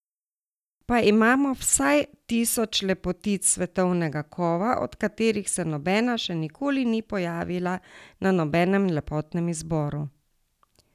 Da imamo vsaj tisoč lepotic svetovnega kova, od katerih se nobena še nikoli ni pojavila na nobenem lepotnem izboru.